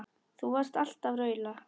Þú varst alltaf að raula.